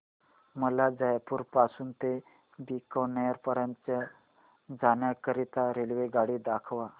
मला जयपुर पासून ते बीकानेर पर्यंत जाण्या करीता रेल्वेगाडी दाखवा